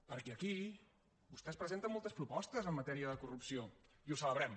perquè aquí vostès presenten moltes propostes en matèria de corrupció i ho celebrem